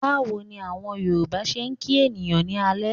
Báwo ni àwọn Yorùbá ṣe ń kí ènìyàn ní alẹ́?